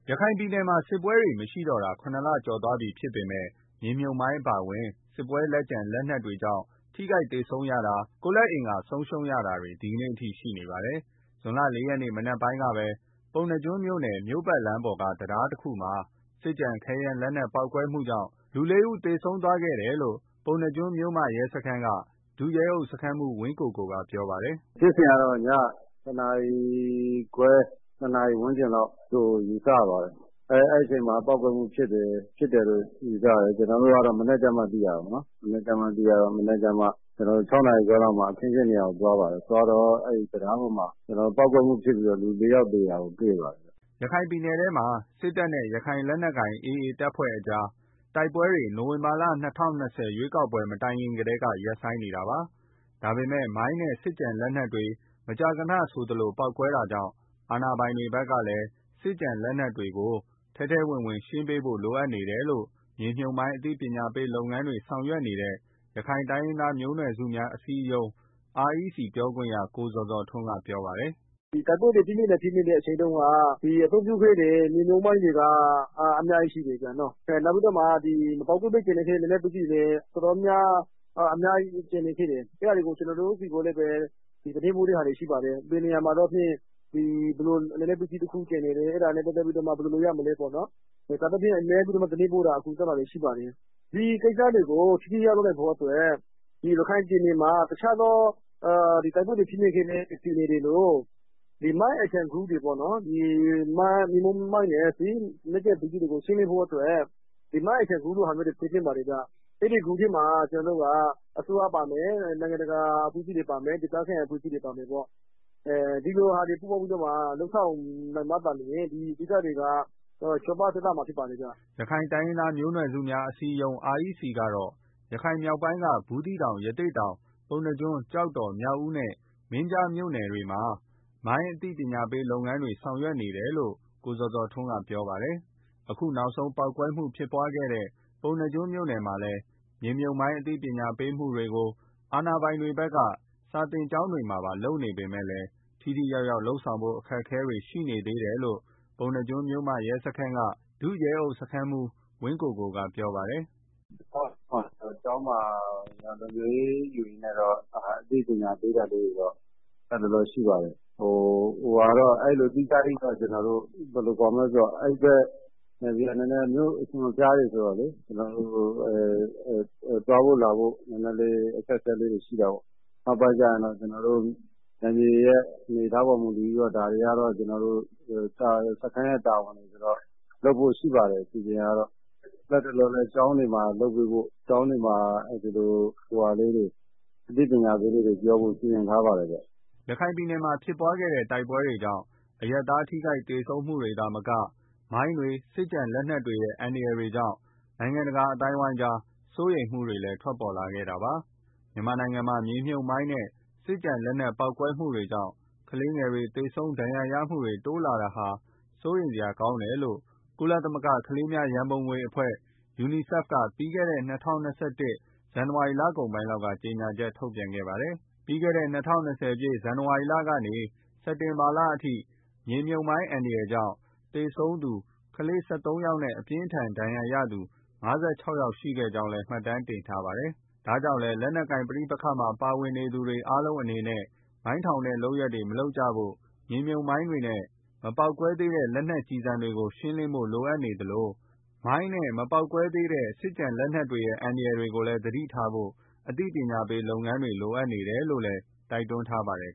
ရခိုင်ပြည်နယ်မှာ စစ်ပွဲတွေမရှိတော့တာ ၇ လကျော်သွားပြီဖြစ်ပေမဲ့ မြေမြှုပ်မိုင်းအပါအဝင် စစ်ပွဲလက်ကျန် လက်နက်တွေကြောင့် ထိခိုက် သေဆုံးရတာ၊ ကိုယ်လက်အင်္ဂါ ဆုံးရှုံးတာတွေက ဒီနေ့အထိ ရှိနေပါတယ်။ ဇွန်လ ၄ ရက်နေ့မနက်ပိုင်းကပဲ ပုဏ္ဏားကျွန်းမြို့ပတ်လမ်းပေါ်က တံတားတခုမှာ စစ်ကျန် ခဲယမ်းလက်နက်ပေါက်ကွဲမှုကြောင့် လူလေးဦး သေဆုံးသွားခဲ့တယ်လို့ ပုဏ္ဏားကျွန်းမြို့မရဲစခန်းက ဒုရဲအုပ် စခန်းမှူး ဝင်းကိုကိုက ပြောပါတယ်။ “ဖြစ်စဉ်ကတော့ ကျနော်တို့ မနက် တနာရီခွဲ နှစ်နာရီ ဝန်းကျင်လောက်ရှိမှာပေါ့။ အဲဒီအချိန်မှာ ပေါက်ကွဲမှုဖြစ်တယ်လို့ ယူဆရတယ်။ ကျနော်တို့ကတော့ မနက်ကျမှ သိရတာပေါ့နော်။ ကျနော်တို့၆ နာရီခွဲလောက်မှ အခင်းအကျင်းနေရာကို သွားပါတယ်။ သွားတော့ အဲတံတားပေါ်မှာ ပေါက်ကွဲမှုဖြစ်ပြီးတော့ လူလေးယောက် သေတာကို တွေ့ပါတယ်။” ရခိုင်ပြည်နယ်ထဲမှာ စစ်တပ်နဲ့ရခိုင်လက်နက်ကိုင် AA အဖွဲ့ကြား တိုက်ပွဲတွေ ၂၀၂၀ နိုဝင်ဘာ ရွေးကောက်ပွဲ မတိုင်ခင်ထဲက ရပ်ဆိုင်းနေတာပါ။ ဒါပေမဲ့ မိုင်းနဲ့ စစ်ကျန်လက်နက်တွေ မကြာခဏဆိုသလို ပေါက်ကွဲတာကြောင့် အာဏာပိုင်တွေ ဘက်ကလည်း စစ်ကျန်လက်နက်တွေကို ထဲထဲဝင်ဝင် ရှင်းပေးဖို့ လိုအပ်တယ်လို့ မြေမြှုပ်မိုင်းအသိပညာပေးလုပ်ငန်းတွေ ဆောင်ရွက်နေတဲ့ ရခိုင်တိုင်းရင်းသားမျိုးနွယ်စုများ အစည်းအရုံး REC ပြောခွင့်ရ ကိုဇော်ဇော်ထွန်းက ပြောပါတယ်။ “တိုက်ပွဲတွေ ပြင်းပြင်းထန်ထန် ဖြစ်တုန်းက အသုံးပြုခဲ့တဲ့ မြေမြှုပ်မိုင်းတွေက အများကြီးရှိနေသေးတာပေါ့နော်။ နောက်ပြီးတော့ မပေါက်ကွဲဘဲ ကျန်နေခဲ့တဲ့ စစ်ကျန်လက်နတ် တွေ လည်း အများကြီးကျန်နေသေးတယ်။ အဲတာကို ကျနော်တို့ ဆီကိုလည်းပဲ သတင်းပို့ တာရှိပါ တယ်။ ဘယ်နေရာမှာတော့ ဘယ်လို လက်နက်ပစ္စည်း တခု ကျန်နေတယ်။ အဲဒါနဲ့ ပတ်သက်ပြီး ဘာလုပ်ရမလဲ ဆိုတာမျိုးပေါ့။ အဲလို သတင်းပို့တာရှိပါတယ်။ ဒီကိစ္စတွေကို ထိထိရောက်ရောက်လုပ်နိုင်ဖို့ အတွက်ရခိုင်ပြည်နယ်မှာ တခြားသော တိုက်ပွဲတွေ ဖြစ်နေခဲ့တဲ့ ပြည်နယ်တွေလို ဒီမိုင်း action group တွေ မြေမြှုပ်မိုင်းနဲ့ စစ်ကျန်ပစ္စည်းတွေ ရှင်းလင်းဖို့ အတွက် ဒီမိုင်း action group တွေဟာမျို းဖွဲ့သင့်ပါတယ်ခင်ဗျာ။ အဲဒီမှာ အစိုးရပါမယ် နိုင်ငံတကာအဖွဲ့အစည်းတွေ ပါမယ် ဒေသခံ အဖွဲ့အစည်းတွေ ပါမယ်ပေါ့။ ဒီလိုလူတွေ ပူးပေါင်းလုပ်မှသာလျှင် ဒီကိစ္စတွေက အဆင်ပြေသွားမှာဖြစ်ပါတယ်။” ရခိုင်တိုင်းရင်းသားမျိုးနွယ်စုများအစည်းအရုံး REC ကတော့ ရခိုင်မြောက်ပိုင်းက ဘူးသီးတောင် ရသေ့တောင် ပုဏ္ဏားကျွန်း၊ ကျောက်တော်၊ မြောက်ဦးနဲ့ မင်းပြားမြို့နယ်တို့မှာ မိုင်းအသိပညာ ပေးလုပ်ငန်းတွေ ဆောင်ရွက်နေတယ်လို့လည်း ကိုဇော်ဇော်ထွန်းကပြောပါတယ်။ အခုနောက်ဆုံး ပေါက်ကွဲမှုဖြစ်ခဲ့တဲ့ ပုဏ္ဏားကျွန်းမြို့နယ်မှာလည်း မြေမြှုပ်မိုင်း အသိပညာပေးမှုတွေကို အာဏာပိုင်တွေဘက်က စာသင်ကျောင်းတွေမှာ လုပ်နေပေမယ့် ထိထိရောက်ရောက် လုပ်ဆောင်ဖို့အခက်အခဲတွေ ရှိနေသေးတယ်လို့ ပုဏ္ဏားကျွန်းမြို့မရဲစခန်းက ဒုရဲအုပ်စခန်းမှူး ဝင်းကိုကိုက ပြောပါတယ်။ “ကျောင်းတွေမှာ လုံခြုံရေးယူရင်းနဲ့တော့ အသိပညာပေးတာတွေရှိပါတယ်။ အဲလို သီးသန့်ကြီးတော့ ကျနော်တို့ ဘယ်လိုခေါ်မလဲ အဲဒီဘက်နေရာတွေက မြို့အစွန်အဖျားတွေဆိုတော့ သွားဖို့ လာဖို့ နည်းနည်းလေး အခက်အခဲတွေ ရှိတာပေါ့။ နောက်ပိုင်းဆိုရင်တော့ နယ်မြေရဲ့ အနေအထားပေါ်မူတည်ပြီးတော့ ကျနော်တို့ စခန်းရဲ့ တာဝန်တွေ ဆိုတော့ လုပ်ဖို့ အစီအစဉ်ရှိပါတယ်။ လတ်တလောမှာလည်း ကျောင်းတွေမှာ အသိပညာပေးတာတွေ ပြောဖို့ စီစဉ်ထားပါတယ်ခင်ဗျာ။” ရခိုင်ပြည်နယ်မှာ ဖြစ်ခဲ့တဲ့ တိုက်ပွဲတွေကြောင့် အရပ်သား ထိခိုက်သေဆုံးမှုတွေသာမက၊ မိုင်းတွေ၊ စစ်ကျန်လက်နက်တွေရဲ့ အန္တရာယ်တွေကြောင့် နိုင်ငံတကာ အသိုင်းအဝန်းကြား စိုးရိမ်မှုတွေလည်း ထွက်ပေါ်ခဲ့တာပါ။ မြန်မာနိုင်ငံမှာ မြေမြှုပ်မိုင်းနဲ့ စစ်ကျန်လက်နက် ပေါက်ကွဲမှုတွေကြောင့် ကလေးငယ်တွေ သေဆုံး၊ ဒဏ်ရာရမှုတွေ တိုးလာတာဟာ စိုးရိမ်စရာ ကောင်းတယ်လို့ ကုလသမဂ္ဂ ကလေးများရန်ပုံငွေအဖွဲ့ (UNICEF) က ပြီးခဲ့တဲ့ ၂၀၂၁ ဇန်နဝါရီလအကုန်ပိုင်းလောက်က ကြေညာချက် ထုတ်ပြန်ခဲ့ပါတယ်။ ပြီးခဲ့တဲ့ ၂၀၂၀ ပြည့် ဇန်နဝါရီလကနေ စက်တင်ဘာလအထိ မိုင်းအန္တရာယ်ကြောင့် သေဆုံးသူ ကလေး ၁၃ ယောက်နဲ့ အပြင်းအထန် ဒဏ်ရာရသူ ၅၆ ယောက် ရှိခဲ့ကြောင်းလည်း မှတ်တမ်းတင်ထားပါတယ်။ ဒါကြောင့်လည်း လက်နက်ကိုင် ပဋိပက္ခတွေမှာ ပါဝင်နေသူတွေ အားလုံးအနေနဲ့ မိုင်းထောင်တဲ့ လုပ်ရပ်တွေကို မလုပ်ကြဖို့ မြေမြှုပ်မိုင်းတွေနဲ့ မပေါက်ကွဲသေးတဲ့ လက်နက်ကျည်ဆံတွေကို ရှင်းလင်းဖို့ လိုအပ်နေသလို မိုင်းနဲ့ မပေါက်ကွဲသေးတဲ့ စစ်ကျန်လက်နက်တွေရဲ့ အန္တရာယ်တွေကို သတိထားဖို့ အသိပညာပေးလုပ်ငန်းတွေ လိုအပ်နေတယ်လို့လည်း တိုက်တွန်းထားပါတယ်